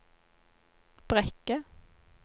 Brekke